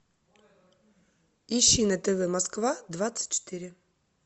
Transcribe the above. ищи на тв москва двадцать четыре